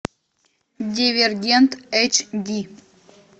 дивергент эйч ди